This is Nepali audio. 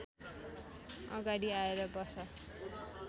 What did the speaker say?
अगाडि आएर बस